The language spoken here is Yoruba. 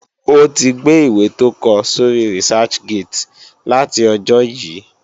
O tí gbe ìwé tó kọ sóri Researchgate láti ọjó yí